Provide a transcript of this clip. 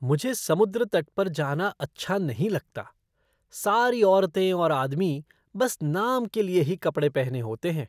मुझे समुद्र तट पर जाना अच्छा नहीं लगता। सारी औरतें और आदमी बस नाम के लिए ही कपड़े पहने होते हैं।